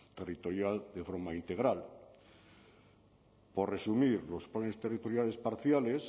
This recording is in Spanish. territorial de forma integral por resumir los planes territoriales parciales